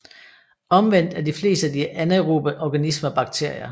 Omvendt er de fleste af de anaerobe organismer bakterier